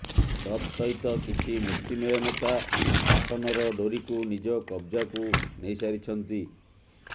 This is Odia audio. ତତ୍ ସହିତ କିଛି ମୁଷ୍ଟିମେୟ ନେତା ଶାସନର ଡୋରୀକୁ ନିଜ କବଜାକୁ ନେଇସାରିଛନ୍ତି